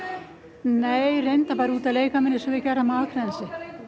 nei reyndar bara út að leika mér eins og við gerðum á Akranesi